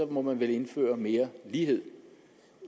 må man vel indføre mere lighed